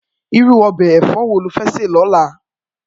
Irú òbè èfò wó ló fè sè lòlá?